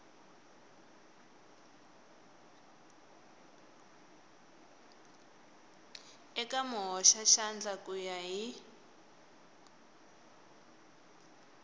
eka muhoxaxandla ku ya hi